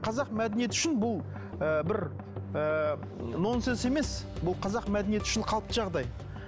қазақ мәдениеті үшін бұл ы бір ы нонсенс емес бұл қазақ мәдениеті үшін қалыпты жағдай